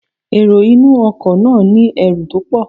The passenger has a lot of luggages